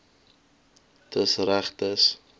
dis reg dis